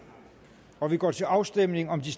og vi går til afstemning om de